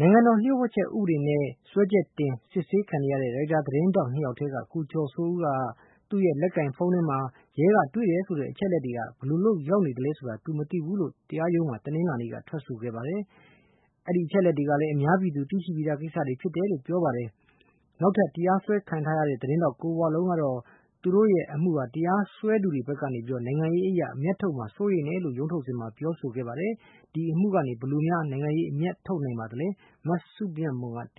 နိုင်ငံတော်လှို့ဝှက်ချက်ဥပဒေနဲ့ တရားရုံးမှာ စွဲချက်တင် စစ်ဆေးခံနေရတဲ့ Reuter’s သတင်းထောက် ၂ ယောက်ထဲက ကိုကျော်စိုးဦးက သူ့ရဲ့လက်ကိုင်ဖုန်းထဲမှာ ရဲကတွေ့တယ်ဆိုတဲ့ အချက်အလက်တွေ ဘယ်လိုရောက်နေသလဲဆိုတာ သူမသိဘူးလို့ တရားရုံးမှာ တနလာနေ့က ထွက်ဆိုခဲ့ပါတယ်။ နောက်အဲဒီအချက်အလက်တွေကလည်း အများပြည်သူ သိရှိပြီးသားကိစ္စတွေဖြစ်တယ်လို့ ပြောကြားခဲ့ပါတယ်။ နောက်ထပ်တရားစွဲခံထားရတဲ့ Reuter’s သတင်းထောက် ကိုဝလုံးကတော့ သူတို့ရဲ့ အမှုကို တရားစွဲသူတွေဖက်က နိုင်ငံရေးအရ အမြတ်ထုတ်မှာ စိုးရိမ်တယ်လို့ ရုံးထုတ်စဉ်မှာ ပြောခဲ့ပါတယ်။ ဒီအမှုကနေ ဘယ်လို နိုင်ငံရေးအမြတ်ထုတ်နိုင် ပါသလဲ။ မစုမြတ်မွန်က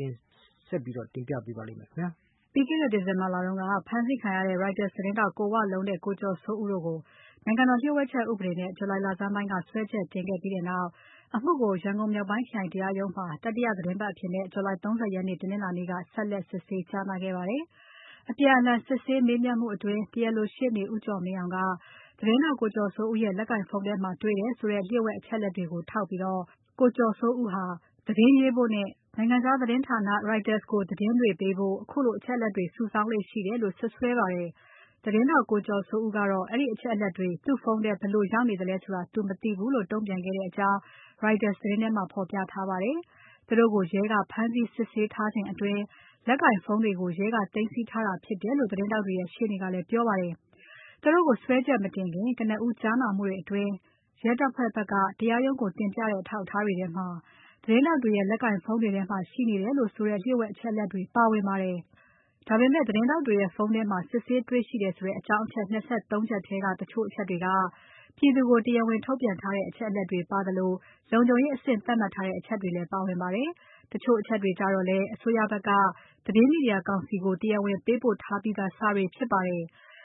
ဆက်ပြီးတင်ပြပါတယ်။ ပြီးခဲ့တဲ့ December လက ဖမ်းဆီးခံရတဲ့ Reuter’s သတင်းထောက် ကိုဝလုံးနဲ့ ကိုကျော်စိုးဦးတို့ကို နိုင်ငံတော် လှို့ဝှက်ချက်ဥပဒေနဲ့ July လဆန်းပိုင်းက စွဲချက်တင်ခဲ့ပြီးနောက် အမှုကို မြောက်ပိုင်းခရိုင်တရားရုံးမှာ တတိယသီတင်းပါတ်အဖြစ် July လ ၃၀ ရက် တနင်္လာနေ့က ဆက်လက် စစ်ဆေးကြားနာခဲ့ပါတယ်။ အပြန်အလှန် စစ်ဆေးမေးမြန်းမှုအတွင်း တရားလိုရှေ့နေ ဦးကျော်မင်းအောင်က သတင်းထောက် ကိုကျော်စိုးဦးရဲ့ လက်ကိုင်ဖုန်းထဲမှာတွေ့တယ်ဆိုတဲ့ လှို့ဝှက်အချက်အလက်တွေကိုထောက်ပြီး ကိုကျော်စိုးဦးဟာ သတင်းရေးဖို့နဲ့၊ နိုင်ငံခြား သတင်းဌာန Reuter’s ကိုအချက်အလက်တွေပေးဖို့ ခုလိုအချက်အလက်တွေကို စုဆောင်းလေ့ရှိတယ်လို့ စွပ်စွဲပါတယ်။ သတင်းထောက် ကိုကျော်စိုးဦးကတော့ အဲဒီအချက်အလက်တွေ သူ့ဖုန်းထဲ ဘယ်လိုရောက်နေသလဲဆိုတာ သူမသိဘူးလို့ တုံ့ပြန်ခဲ့ကြောင်း Reuter’s သတင်း ထဲမှာ ဖော်ပြထားပါတယ်။ သူတို့ကို ရဲကဖမ်းဆီးစစ်ဆေးထားချိန်အတွင်း လက်ကိုင်ဖုန်းတွေကို ရဲကသိမ်းဆည်းထားတာဖြစ်တယ်လို့ သတင်းထောက်တွေရဲ့ ရှေ့နေကလည်း ပြောပါတယ်။ သူတို့ကို စွဲချက်မတင်ခင် ကနဦးကြားနာမှုတွေအတွင်း ရဲတပ်ဖွဲ့ဖက်က တရားရုံးကို တင်ပြတဲ့အထောက်အထား တွေထဲမှာ သတင်းထောက် တွေရဲ့ လက်ကိုင်ဖုန်းတွေထဲမှာ ရှိနေတယ်လို့ဆိုတဲ့ လှုှ့ိဝှက်အချက်အလက်တွေပါဝင်ပါတယ်။ ဒါပေမဲ့ သတင်းထောက်တွေရဲ့ ဖုန်းထဲမှာ စစ်ဆေးတေ့ွရှိတယ်ဆိုတဲ့ အကြောင်း အချက် ၂၃ ချက်ထဲက တချို့တချက်တွေက ပြည်သူကို တရားဝင်ထုတ်ပြန်ထားတဲ့ အချက်အလက် တွေပါသလို၊ လုံခြုံရေးအဆင့် သတ်မှတ်ထားတဲ့ အချက်တွေလည်းပါဝင်ပါတယ်။ တချို့အချက်တွေကျတော့လည်း အစိုးရဖက်က သတင်းမီဒီယာကောင်စီကို တရားဝင်ပေးပို့ထားပြီးသား စာတွေဖြစ်ပါတယ်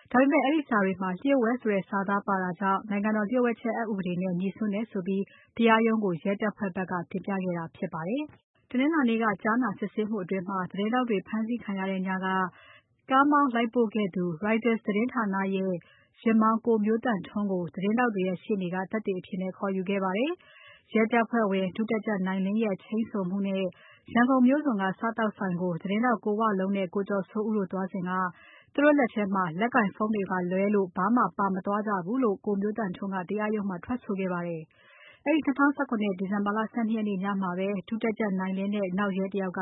။ ဒါပေမဲ့ အဲဒီစာတွေမှာ လှို့ဝှက်ဆိုတဲ့စာသားပါတာကြောင့် နိုင်ငံတော်လှို့ဝှက်ချက် အက်ဥပဒေနဲ့ ငြိစွန်းတယ်ဆိုပြီး တရားရုံးကို ရဲတပ်ဖွဲ့ဖက်က တင်ပြခဲ့တာဖြစ်ပါတယ်။ တနင်္လာနေ့က ကြားနာစစ်ဆေးမှုအတွင်း သတင်းထောက်တွေဖမ်းဆီးခံရတဲ့ညက ကားမောင်းလိုက်ပို့ခဲ့တူ Reuter’s သတင်းဌာနရဲ့ ယာဉ်မောင်း ကိုမျိုးသန့်ထွန်းကို သတင်းထောက်တွေရဲ့ရှေ့နေ့က သက်သေအဖြစ်ခေါ်ယူခဲ့ပါတယ်။ ရဲတပ်ဖွဲ့ဝင် ဒုတပ်ကြပ်နိုင်လင်းရဲ့ ချိန်းဆိုမှုနဲ့ ရန်ကုန်မြို့စွန်က စားသောက်ဆိုင်ကို သတင်းထောက်ကိုဝလုံးနဲ့ ကိုကျော်စိုးဦးတို့ သွားစဉ်က သူတို့လက်ထဲမှာ လက်ကိုင်ဖုန်း တွေကလွဲလို့ ဘာမှပါမသွားကြဘူးလို့ ကိုမျိုးသန့်ထွန်းက တရားရုံးမှာ ထွက်ဆိုခဲ့ပါတယ်။ အဲဒီ ၂၀၁၇ ခုနှစ် ဒီဇင်ဘာ ၁၂ ရက်နေ့ညမှာပဲ ဒုတပ်ကြပ်နိုင်လင်းနဲ့ နောက်ရဲတယောက်က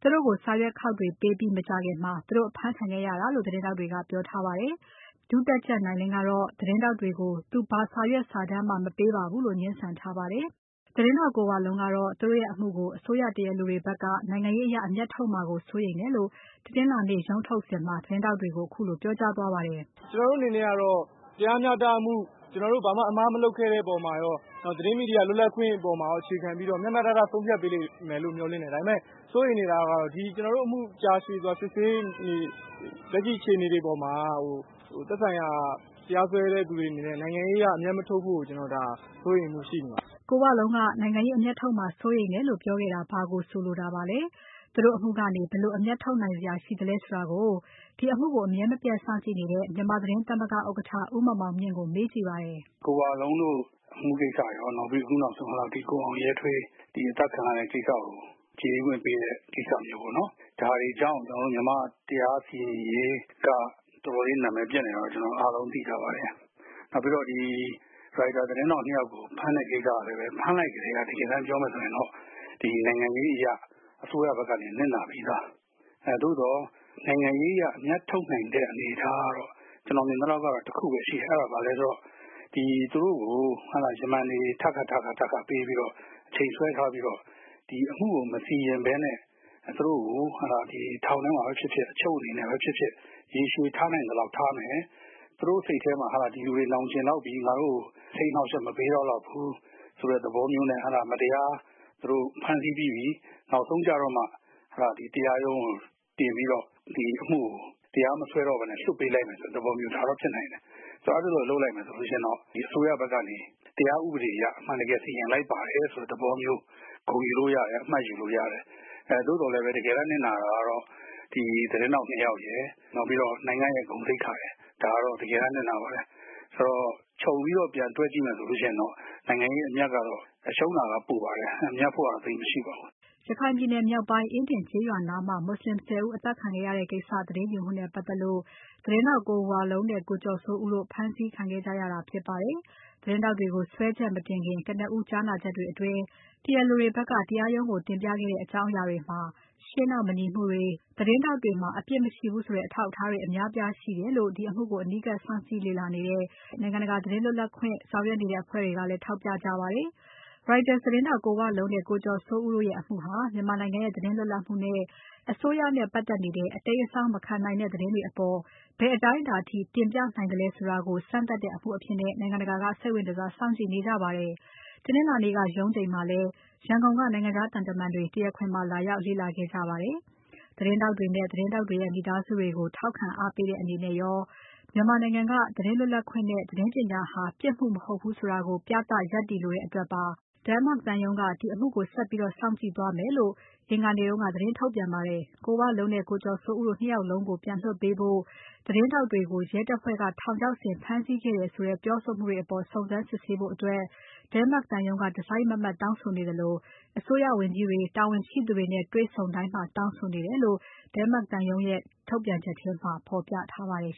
သူတို့ကိုစာရွက်ခေါက်တွေပေးပြီး မကြာခင်မှာ သူတို့အဖမ်းခံခဲ့ရတာလို့ သတင်းထောက်တွေက ပြောထားပါတယ်။ ဒုတပ်ကြပ်နိုင်လင်းကတော့ သတင်းထောက်တွေကို သူဘာစာရွက်စာတမ်းမှ မပေးပါဘူးလို့ ငြင်းဆန်ထားပါတယ်။ သတင်းထောက်ကိုဝလုံးကတော့ သူတို့ရဲ့အမှုကို အစိုးရတရားလိုတွေဖက်က နိုင်ငံရေးအရ အမြတ်ထုတ်မှာကို စိုးရိမ်တယ်လို့ တနင်္လာနေ့ ရုံးထုတ်စဉ်မှာ သတင်းထောက်တွေကို ခုလိုပြောကြားသွားပါတယ်။ “ကျွန်တော်တို့ အနေနဲ့ကတော့ တရားမျှတမှု၊ ကျွန်တော်တို့ ဘာမှ အမှား မလုပ်ခဲ့ တဲ့ အပေါ်မှာရော သတင်း မီဒီယာ လွတ်လပ်ခွင့် အပေါ်မှာရော၊ အခြေခံပြီးတော့ မျှမျှတတ ဆုံးဖြတ်ပေးလိမ့်မယ်လို့ မျှော်လင့်တယ်။ ဒါပေမယ့် စိုးရိမ်နေတာကတော့ ကျွန်တော်တို့ အမှု ကြာရှည်စွာ စစ်ဆေး နေတဲ့ လက်ရှိ အခြေနေ အပေါ်မှာ သက်ဆိုင်ရာ တရားစွဲတဲ့ သူတွေ အနေနဲ့ နိုင်ငံရေး အရ အမြတ်မထုတ်ဖို့ ဒါ ကျွန်တော်တို့ စိုးရိမ်မှု ရှိနေပါတယ်။” ကိုဝလုံးက နိုင်ငံရေးအမြတ်ထုတ်မှာ စိုးရိမ်တယ်လို့ ပြောခဲ့တာ ဘာကိုဆိုလိုတာပါလဲ။ သူတို့အမှုကနေ ဘယ်လို အမြတ်ထုတ်နိုင်စရာ ရှိသလဲဆိုတာကို ဒီအမှုကို အမြဲမပြတ်စောင့်ကြည့်နေတဲ့ မြန်မာသတင်းသမဂ္ဂဥက္ကဋ္ဌ ဦးမောင်မောင်မြင့်ကို မေးကြည့်ပါတယ်။ “ရိုက်တာ သတင်းထောက် ၂ ယောက်ကို ဖမ်းတဲ့ ကိစ္စကလည်းပဲ၊ ဖမ်းလိုက်ကတည်းက တကယ်တမ်း ပြောမယ် ဆိုရင်တော့ နိုင်ငံရေး အရ အစိုးရ ဘက်က နစ်နာပြီးသား။ သို့သော်၊ နိုင်ငံရေး အရ အမြတ်ထုတ်နိုင်တဲ့ အနေအထားကတော့ ကျွန်တော် မြင်သလောက်ကတော့ တခုပဲ ရှိတယ်။ အဲဒါက ဘာလဲ ဆိုတော့ သူတို့ကို ယမန်တွေ ထပ်ခါထပ်ခါ ပေးပြီးတော့ အချိန်ဆွဲ ထားပြီးတော့ ဒီအမှုကို မစီရင်ပဲနဲ့ ထောင်ထဲမှာပဲ ဖြစ်ဖြစ်၊ အချုပ်မှာပဲ ဖြစ်ဖြစ် ရေရှည် ထားနိုင်သလောက် ထားမယ်။ သူတို့ စိတ်ထဲမှာ ဒီလူတွေ နောင်ကျဉ်လောက်ပြီ။ ငါတို့ကိုစိတ်အနှောက်အယှက် မပေးတော့ လောက်ဖူး၊ ဆိုတဲ့ သဘောမျိုးနဲ့။ သူတို့ ဖမ်းဆီးပြီးပြီ။ နောက်ဆုံး ကျတော့မှ ရုံးကို တင်ပြီးတော့ ဒီအမှုကို တရားမစွဲတော့ပဲနဲ့ လွှတ်ပေးလိုက်မယ် ဆိုတဲ့ သဘောမျိုး။ ဒါက ဖြစ်နိုင်တယ်။ ဆိုတော့ အဲဒီ လို လုပ်လိုက်မယ် ဆိုလို့ ရှိရင်တော့ ဒီအစိုးရ ဘက်ကနေ တရားဥပဒေအရ အမှန် တကယ် စီရင်လိုက်ပါတယ်၊ ဆိုတဲ့ သဘောမျိုး ဂုဏ် ယူလို့ ရတယ်။ အမှတ် ယူလို့ ရတယ်။ အဲ တကယ်တမ်း နစ်နာတာကတော့ ဒီ သတင်းထောက် ၂ ယောက်ရယ်၊ နောက်ပြီးတော့ နိုင်ငံ့ရဲ့ ဂုဏ်သိက္ခာရယ်၊ ဒါကတော့ တကယ်တမ်း နစ်နာပါတယ်။ အဲဒီတော့ ခြုံပြီးတော့ ပြန်တွက် ကြည့်မယ် ဆိုလို့ ရှိရင်တော့ နိုင်ငံရေး အမြတ်ကတော့ ရှုံးတာက ပိုပါတယ်။ မြတ်ဖို့ ကတော့ သိပ်မရှိပါဘူး။” ရခိုင်ပြည်နယ်မြောက်ပိုင်း အင်းဒင်ကျေးရွာနားမှာ မွတ်ဆလင် ၁၀ ဦး အသတ်ခံခဲ့ရတဲ့ကိစ္စ သတင်းယူမှုနဲ့ပါတ်သက်လို့ သတင်းထောက် ကိုဝလုံးနဲ့ ကိုကျော်စိုးဦးတို့ ဖမ်းဆီးခံခဲ့ကြရတာဖြစ်ပါတယ်။ သတင်းထောက်တွေကို စွဲချက်မတင်ခင် ကနဦးကြားနာချက်တွေအတွင်း တရားလိုတွေဖက်က တရားရုံးကိုတင်ပြခဲ့တဲ့ အကြောင်းအရာတွေမှာ ရှေ့နောက် မညီမှုတွေ၊ သတင်းထောက်တွေမှာ အပြစ်မရှိဘူးဆိုတဲ့ အထောက်အထားတွေ အများအပြားရှိတယ်လို့ ဒီအမှုကို အနီးကပ်စောင့်ကြည့်နေကြတဲ့ နိုင်ငံတကာ သတင်းလွတ်လပ်ခွင့်ဆောင်ရွက်နေတဲ့ အဖွဲ့တွေက ထောက်ပြခဲ့ကြပါတယ်။ Reuter’s သတင်းထောက် ကိုဝလုံးနဲ့ ကိုကျော်စိုးဦးတို့ရဲ့ အမှုဟာ မြန်မာနိုင်ငံရဲ့ သတင်းလွတ်လပ်မှုနဲ့ အစိုးရနဲ့ပါတ်သက်နေတဲ့ အတိမ်းအစောင်း မခံနိုင်တဲ့ သတင်းတွေအပေါ် ဘယ်အတိုင်းအတာအထိ တင်ပြနိုင်သလဲဆိုတာကို စမ်းသပ်တဲ့အမှုအဖြစ် နိုင်ငံတကာက စိတ်ဝင်တစား စောင့်ကြည့်နေကြပါတယ်။ တနင်္လာနေ့က ရုံးချိန်မှာလည်း ရန်ကုန်က နိုင်ငံခြားသံတမာန်တွေ တရားခွင်မှာ လာရောက် လေ့လာခဲ့ကြပါတယ်။ သတင်းထောက်တွေနဲ့ သတင်းထောက်တွေရဲ့ မိသားစုတွေကို ထောက်ခံအားပေးတဲ့အနေရော၊ မြန်မာနိုင်ငံက သတင်းလွတ်လပ်ခွင့်နဲ့ သတင်းပညာဟာ ပြစ်မှုမဟုတ်ဘူးဆိုတာကို ပြသရပ်တည်လိုတဲ့အတွက်ပါ Denmark သံရုံးကို ဒီအမှုကို ဆက်ပြီးစောင့်ကြည့်သွားမယ်လို့ Denmark သံရုံးက အင်္ဂါနေ့က သတင်းထုတ်ပြန်ပါတယ်။ ကိုဝလုံးနဲ့ ကိုကျော်စိုးဦးတို့ ၂ ယောက်လုံးကို ပြန်လွှတ်ပေးဖို့ သတင်းထောက်တွေကို ရဲတပ်ဖွဲ့က ထောင်ချောက်ဆင် ဖမ်းဆီးခဲ့တယ်ဆိုတဲ့ ပြောဆိုမှုတွေအပေါ် စုံစမ်းစစ်ဆေးဖို့အတွက် Denmark သံရုံးက တစိုက်မတ်မတ်တောင်းဆိုနေသလို၊ အစိုးရဝန်ကြီးတွေ တာဝန်ရှိသူတွေနဲ့ တွေ့ဆုံတိုင်း တောင်းဆိုနေတယ်လို့ Denmark သံရုံးရဲ့ ထုတ်ပြန်ချက်ထဲမှာ ဖော်ပြထားပါတယ်